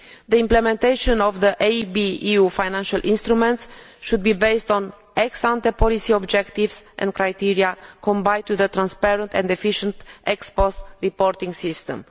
The implementation of the EIB EU financial instruments should be based on ex ante policy objectives and criteria combined with the transparent and efficient ex post reporting system.